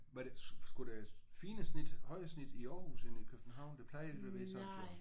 Var det skulle det fine snit højere snit i Aarhus end i København? Det plejer da at være sådan